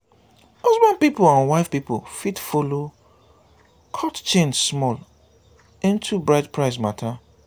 husband pipol and wife pipol fit follow "cut chain" small onto bride price mata